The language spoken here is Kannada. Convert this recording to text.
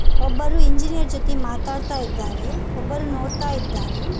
ಒಬ್ಬರು ಇಂಜಿನಿಯರ್ ಜೊತೆ ಮಾತಾಡ್ತಾ ಇದ್ದಾರೆ ಒಬ್ಬರು ನೋಡ್ತಾ ಇದ್ದಾರೆ.